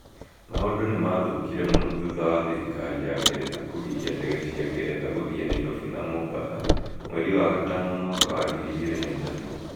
Maũndũ nĩ maathũkire mũno thutha wa thirikari ya Ngeretha kũgiria ndege cia Ngeretha gũthiĩ Nairobi na Mombasa mweri wa gatano mwaka wa ngiri igĩrĩ na ithatũ